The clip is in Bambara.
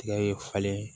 Tigɛ ye falen